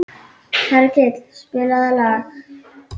Hergill, spilaðu lag.